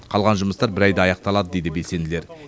қалған жұмыстар бір айда аяқталады дейді белсенділер